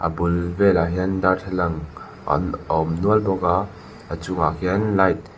a bul velah darthlalang an a awm nual bawka a chung ah hian light .